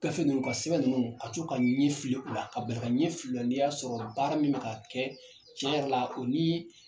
Gafe ninnu ka sɛbɛn ninnu ka to ka ɲɛ fili u la ka bari ka ɲɛ fili o la n'i y'a sɔrɔ baara min bɛ ka kɛ cɛn yɛrɛ la o ni